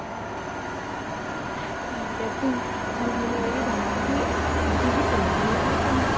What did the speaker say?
ਠੀਕ ਐ ਤੂੰ ਚੱਲ ਮੈਨੂੰ ਏਹ ਦੱਸ ਬਈ ਵੀ ਆਪਾਂ ਅੱਗੇ ਵੀ ਚਲਾਂਗੇ ਹੈਂ ਘੁਮਣ